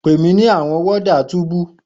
Pe mi ni awọn warders tubu